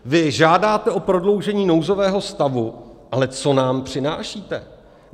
Vy žádáte o prodloužení nouzového stavu, ale co nám přinášíte?